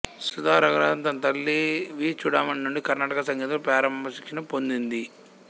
సుధ రఘునాథన్ తన తల్లి వి చూడామణీ నుండి కర్ణాటక సంగీతంలో ప్రారంభ శిక్షణ పొందింది